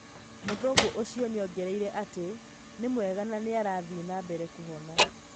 Mũthũngũ ũcio nĩongereire atĩ, " Nĩ mwega na nĩarathiĩ na mbere kũhona